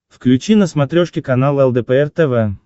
включи на смотрешке канал лдпр тв